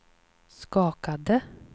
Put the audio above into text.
skakade